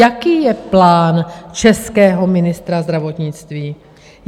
Jaký je plán českého ministra zdravotnictví?